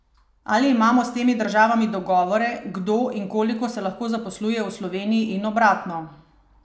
Ali imamo s temi državami dogovore, kdo in koliko se lahko zaposluje v Sloveniji in obratno?